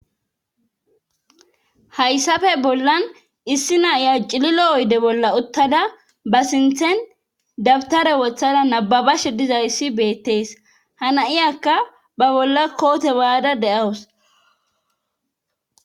hayssafe bollan issi na'iya cililo oyde bolla uttada ba sinthen dabtare wothada nababashe dizayssi beettees hana'iyakka ba bolla koote mayaada de'awus